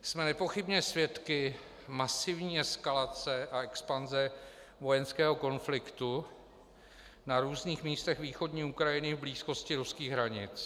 Jsme nepochybně svědky masivní eskalace a expanze vojenského konfliktu na různých místech východní Ukrajiny v blízkosti ruských hranic.